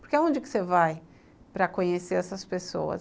Porque onde você vai para conhecer essas pessoas?